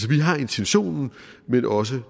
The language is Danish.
vi har intentionen men også